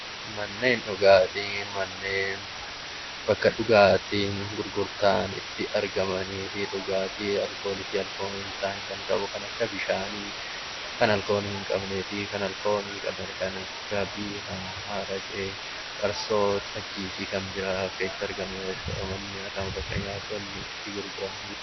Manneen dhugaatii manneen bakka dhugaatiin gurgurtaa itti argamanii fi dhugaatii alkoolii fi alkoolii hin taane kan qabu kan akka bishaanii kan alkoolii qabanii fi kan alkoolii hin qabne kan akka araqee , farsoo, xajjii fi kanneen biroos ni argamu.